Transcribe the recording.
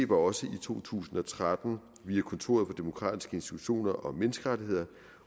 også i to tusind og tretten via kontoret for demokratiske institutioner og menneskerettigheder